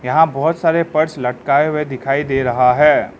यहां बहुत सारे पर्स लटकाए हुए दिखाई दे रहा है।